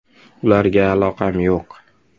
Ularga aloqam yo‘q.